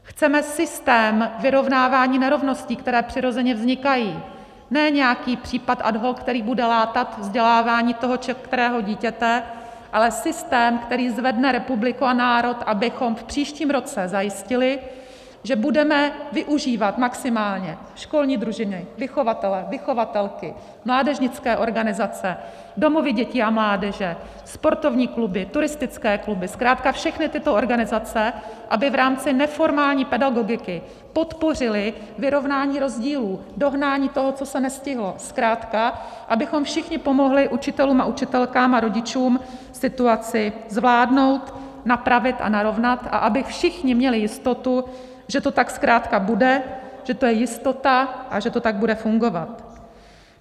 Chceme systém vyrovnávání nerovností, které přirozeně vznikají, ne nějaký případ ad hoc, který bude látat vzdělávání toho kterého dítěte, ale systém, který zvedne republiku a národ, abychom v příštím roce zajistili, že budeme využívat maximálně školní družiny, vychovatele, vychovatelky, mládežnické organizace, domovy dětí a mládeže, sportovní kluby, turistické kluby, zkrátka všechny tyto organizace, aby v rámci neformální pedagogiky podpořily vyrovnání rozdílů, dohnání toho, co se nestihlo, zkrátka abychom všichni pomohli učitelům a učitelkám a rodičům situaci zvládnout, napravit a narovnat a aby všichni měli jistotu, že to tak zkrátka bude, že to je jistota a že to tak bude fungovat.